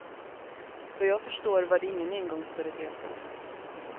Vad jag förstår var det ingen engångsföreteelse.